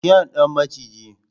kyan Dan maciji.